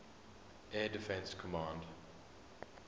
air defense command